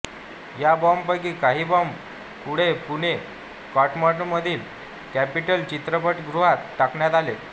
या बॉम्बपैकी काही बॉम्ब पुढे पुणे कॅन्टॉन्मेन्टमधील कॅपिटॉल चित्रपटगृहात टाकण्यात आले